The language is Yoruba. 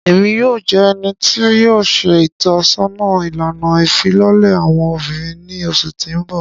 Emi yoo jẹ ẹni ti yoo ṣe itọsọna ilana ifilọlẹ awọn obinrin ni oṣu ti n bọ.